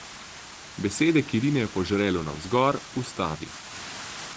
Besede, ki rinejo po žrelu navzgor, ustavi.